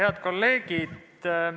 Head kolleegid!